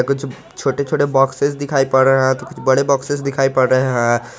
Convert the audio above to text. छोटे छोटे बॉक्सेस दिखाई पड़ रहा है बड़े बॉक्स दिखाई पड़ रहे हैं।